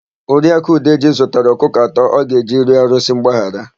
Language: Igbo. Oriaku Udeji zụtara ọkụkọ atọ ọ ga-eji rịọ arụsị mgbaghara.